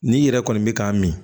N'i yɛrɛ kɔni bɛ k'a min